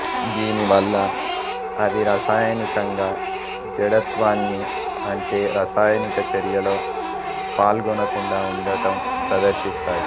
దీనివల్ల అవి రసాయనికంగా జడత్వాన్ని అంటే రసాయనిక చర్యలో పాల్గొనకుండా ఉండటం ప్రదర్శిస్తాయి